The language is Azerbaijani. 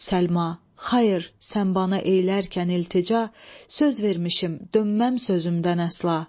Səlma, xayır, sən bana eylərkən iltica, söz vermişəm, dönməm sözümdən əsla.